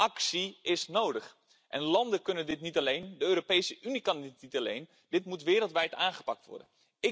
Actie is nodig en landen kunnen dit niet alleen, de Europese Unie kan dit niet alleen, dit moet wereldwijd aangepakt worden.